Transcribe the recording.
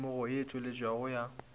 temogo ye e tseneletšego ya